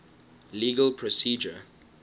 legal procedure